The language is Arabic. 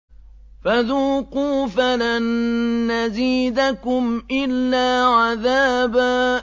فَذُوقُوا فَلَن نَّزِيدَكُمْ إِلَّا عَذَابًا